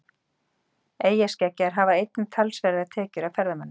Eyjaskeggjar hafa einnig talsverðar tekjur af ferðamönnum.